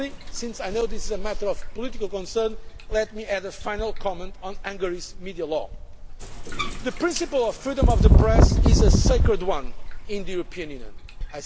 policy. Since I know this is a matter of political concern, let me add a final comment on Hungary's media law. The principle of freedom of the press is a sacred one in the European